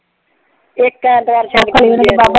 ਇੱਕ ਐਤਵਾਰ ਛੱਡ ਕੇ ਦੂਜੇ ਐਤਵਾਰ